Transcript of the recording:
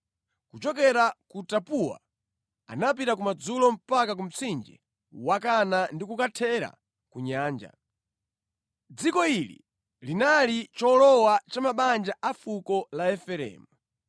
Kuchokera ku Tapuwa anapita kumadzulo mpaka ku mtsinje wa Kana ndi kukathera ku nyanja. Dziko ili linali cholowa cha mabanja afuko la Efereimu,